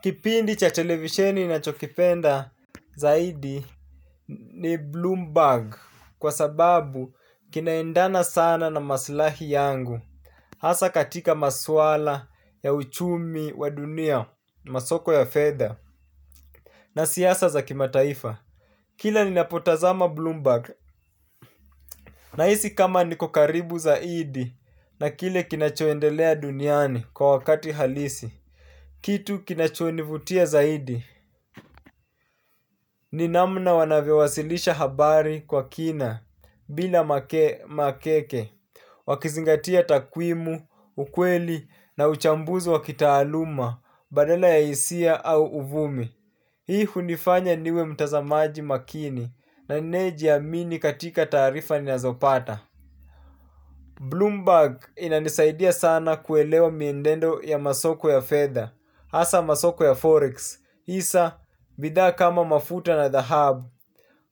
Kipindi cha televisheni ninachokipenda zaidi ni Bloomberg kwa sababu kinaendana sana na maslahi yangu. Hasa katika maswala ya uchumi wa dunia, masoko ya fedha na siasa za kimataifa. Kila ninapotazama Bloomberg nahisi kama niko karibu zaidi na kile kinachoendelea duniani kwa wakati halisi. Kitu kinachonivutia zaidi. Ni namna wanavyowasilisha habari kwa kina bila makeke, wakizingatia takwimu, ukweli na uchambuzi wa kitaaluma, badala ya hisia au uvumi. Hii hunifanya niwe mtazamaji makini na ninayejiamini katika tawrifa ninazopata. Bloomberg inanisaidia sana kuelewa mienendo ya masoko ya fedha hasa masoko ya forex. Hisa, bidhaa kama mafuta na dhahabu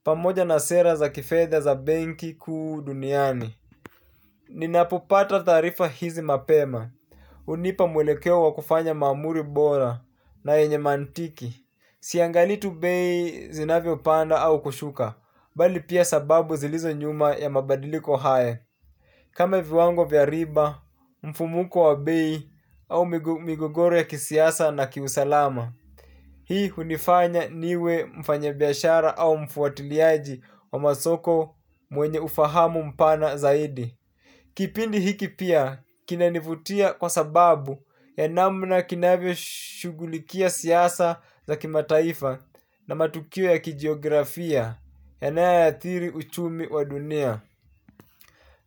pamoja na sera za kifedha za benki kuu duniani. Ninapopata taarifa hizi mapema hunipa mwelekeo wa kufanya maamuzi bora na yenye mantiki. Si angalii tu bei zinavyopanda au kushuka. Bali pia sababu zilizo nyuma ya mabadiliko haya kame viwango vya riba, mfumuko wa bei au migogoro ya kisiasa na kiusalama. Hii hunifanya niwe mfanyabiashara au mfuatiliaji wa masoko mwenye ufahamu mpana zaidi. Kipindi hiki pia kinanivutia kwa sababu ya namna kinavyoshugulikia siasa za kimataifa na matukio ya kijiografia yanayoathiri uchumi wa dunia.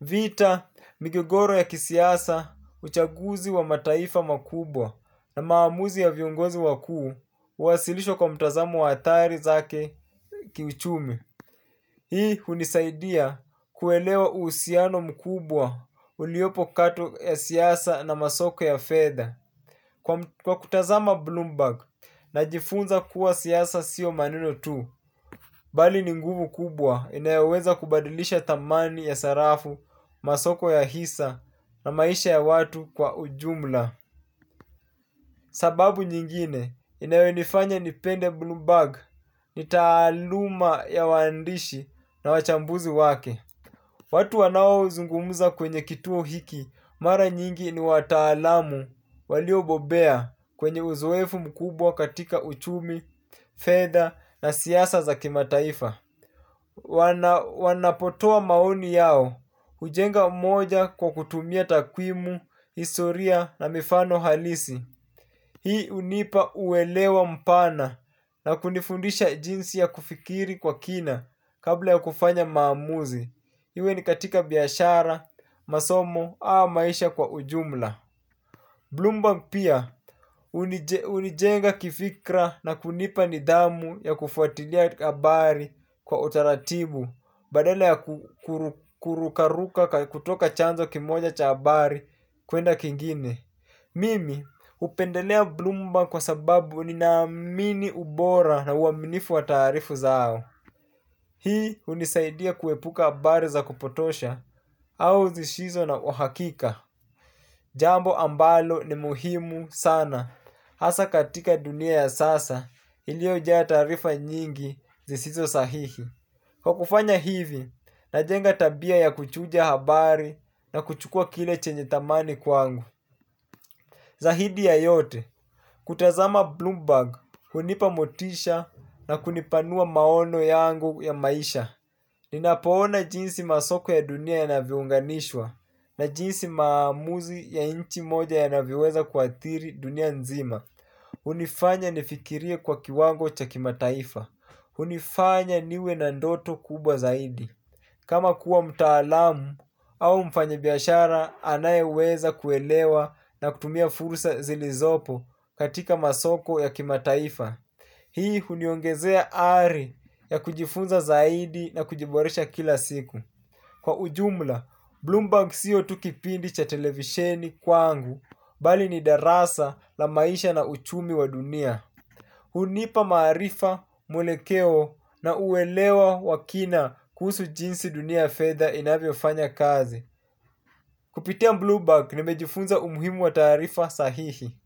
Vita, migogoro ya kisiasa, uchaguzi wa mataifa makubwa na maamuzi ya viongozi wakuu, huwasilishwa kwa mtazamo wa athari zake kiuchumi. Hii hunisaidia kuelewa uhusiano mkubwa uliopo kati ya siasa na masoko ya fedha. Kwa kutazama Bloomberg, najifunza kuwa siasa sio maneno tu, bali ni nguvu kubwa inayoweza kubadilisha thamani ya sarafu, masoko ya hisa na maisha ya watu kwa ujumla. Sababu nyingine inayonifanya nipende Bloomberg ni taaluma ya waandishi na wachambuzi wake. Watu wanaozungumuza kwenye kituo hiki mara nyingi ni wataalamu waliobobea kwenye uzoefu mkubwa katika uchumi, fedha na siasa za kimataifa. Wanapotoa maoni yao, hujenga moja kwa kutumia takwimu, historia na mifano halisi. Hii hunipa uelewa mpana na kunifundisha jinsi ya kufikiri kwa kina kabla ya kufanya maamuzi. Iwe ni katika biashara, masomo au maisha kwa ujumla Bloomberg pia hunijenga kifikra na kunipa nidhamu yakufuatilia habari kwa utaratibu. Badala ya kurukaruka kutoka chanzo kimoja cha habari kwenda kingine. Mimi hupendelea Bloomberg kwa sababu nina amini ubora na uaminifu wa taarifa zao. Hii hunisaidia kuepuka habari za kupotosha au zisizo na uhakika. Jambo ambalo ni muhimu sana hasa katika dunia ya sasa iliyoja ya taarifa nyingi zisizo sahihi. Kwa kufanya hivi, najenga tabia ya kuchuja habari na kuchukua kile chenye thamani kwangu. Zaidi ya yote, kutazama Bloomberg hunipa motisha na kunipanua maono yangu ya maisha. Ninapoona jinsi masoko ya dunia yanavyounganishwa na jinsi maamuzi ya nchi moja yanavyoweza kuathiri dunia nzima ulhunifanya nifikirie kwa kiwango cha kimataifa hunifanya niwe na ndoto kubwa zaidi kama kuwa mtaalamu au mfanyibiashara anayeweza kuelewa na kutumia fursa zilizopo katika masoko ya kimataifa. Hii huniongezea ari ya kujifunza zaidi na kujiboresha kila siku. Kwa ujumla, Bloomberg sio tu kipindi cha televisheni kwangu, bali ni darasa la maisha na uchumi wa dunia. Hunipa maarifa, mwelekeo na uelewa wa kina kuhusu jinsi dunia ya fedha inavyofanya kazi. Kupitia Bloomberg nimejifunza umuhimu wa taarifa sahihi.